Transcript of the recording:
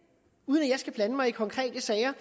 uden at jeg skal blande mig i konkrete sager